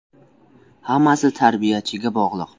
: Hammasi tarbiyachiga bog‘liq.